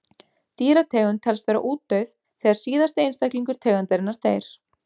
Dýrategund telst vera útdauð þegar síðasti einstaklingur tegundarinnar deyr.